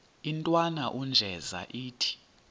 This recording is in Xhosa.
intwana unjeza ithi